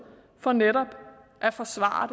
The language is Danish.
for netop at forsvare